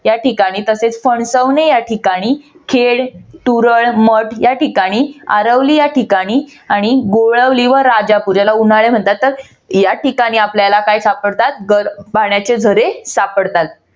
त्याठिकाणी तसेच फणसवने या ठिकाणी खेड, तुरळ, मठ या ठिकाण आरवली या ठिकाणी आणि गोळवली व राजापूर याला उन्हाळे म्हणतात तर या ठिकाणी आपल्याला काय सापडतात तर गरम पाण्याचे झरे सापडतात.